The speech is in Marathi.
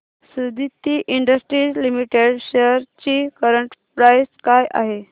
सुदिति इंडस्ट्रीज लिमिटेड शेअर्स ची करंट प्राइस काय आहे